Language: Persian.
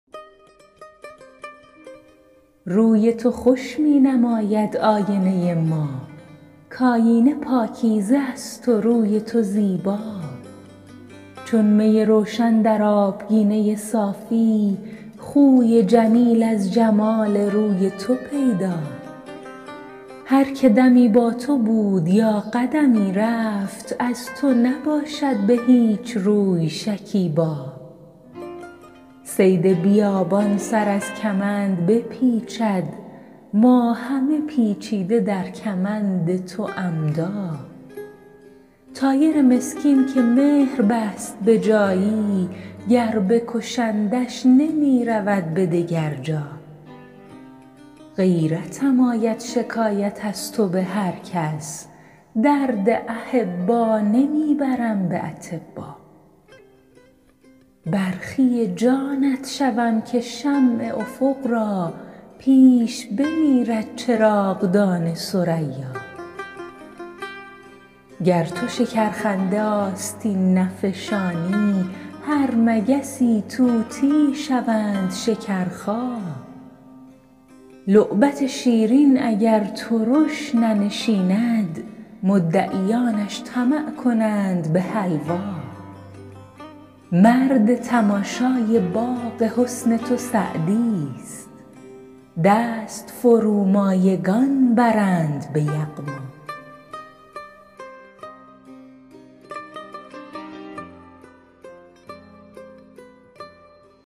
روی تو خوش می نماید آینه ما کآینه پاکیزه است و روی تو زیبا چون می روشن در آبگینه صافی خوی جمیل از جمال روی تو پیدا هر که دمی با تو بود یا قدمی رفت از تو نباشد به هیچ روی شکیبا صید بیابان سر از کمند بپیچد ما همه پیچیده در کمند تو عمدا طایر مسکین که مهر بست به جایی گر بکشندش نمی رود به دگر جا غیرتم آید شکایت از تو به هر کس درد احبا نمی برم به اطبا برخی جانت شوم که شمع افق را پیش بمیرد چراغدان ثریا گر تو شکرخنده آستین نفشانی هر مگسی طوطیی شوند شکرخا لعبت شیرین اگر ترش ننشیند مدعیانش طمع کنند به حلوا مرد تماشای باغ حسن تو سعدیست دست فرومایگان برند به یغما